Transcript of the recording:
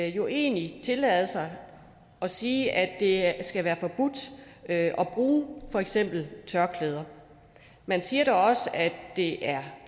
jo egentlig tillade sig at sige at det skal være forbudt at bruge for eksempel tørklæde man siger dog også at det er